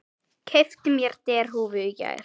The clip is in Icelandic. Keypti mér derhúfu í gær.